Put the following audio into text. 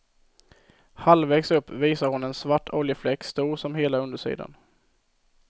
Halvvägs upp visar hon en svart oljefläck stor som hela undersidan.